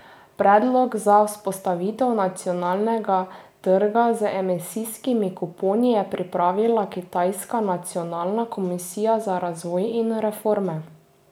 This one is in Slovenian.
Predlog za vzpostavitev nacionalnega trga z emisijskimi kuponi je pripravila kitajska nacionalna komisija za razvoj in reforme.